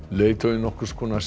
leiðtogi nokkurs konar